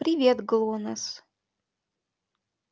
привет глонассс